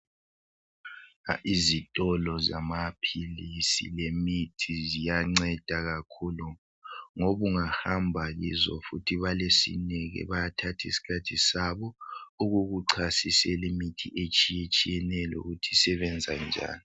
Izitolo zamaphilisi lemithi ziyanceda kakhulu ngoba ungahamba kizo balesineke bayathatha isikhathi sabo ukukuchasisela imithi etshiyetshiyeneyo lokuthi isebenza njani.